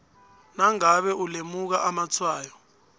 nangabe ulemuka amatshwayo